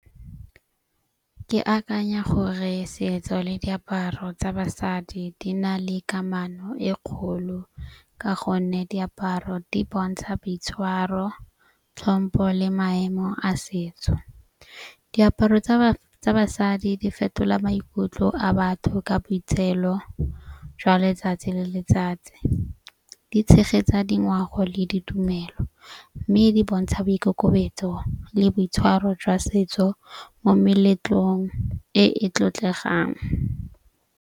Ke akanya gore setso le diaparo tsa basadi di na le kamano e kgolo. Ka gonne diaparo di bontsha boitshwaro, tlhompo le maemo a setso. Diaparo tsa basadi di fetola maikutlo a batho ka botshelo jwa letsatsi le letsatsi. Di tshegetsa dingwao le ditumelo. Mme di bontsha boikokobetso le boitshwaro jwa setso mo meletlong e e tlotlegang.